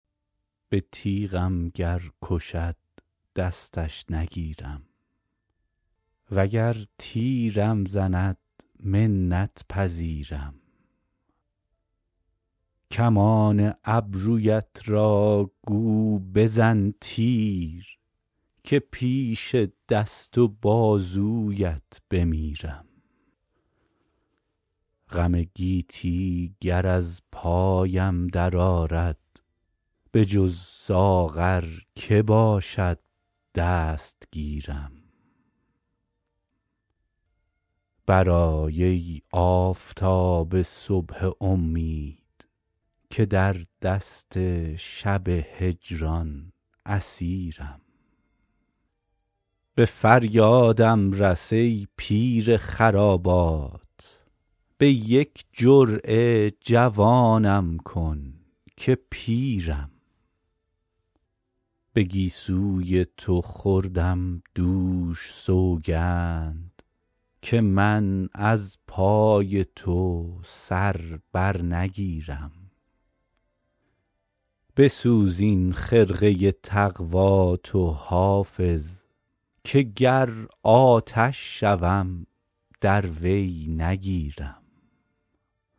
به تیغم گر کشد دستش نگیرم وگر تیرم زند منت پذیرم کمان ابرویت را گو بزن تیر که پیش دست و بازویت بمیرم غم گیتی گر از پایم درآرد بجز ساغر که باشد دستگیرم برآی ای آفتاب صبح امید که در دست شب هجران اسیرم به فریادم رس ای پیر خرابات به یک جرعه جوانم کن که پیرم به گیسوی تو خوردم دوش سوگند که من از پای تو سر بر نگیرم بسوز این خرقه تقوا تو حافظ که گر آتش شوم در وی نگیرم